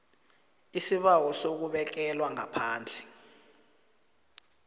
isibawo sokubekelwa ngaphandle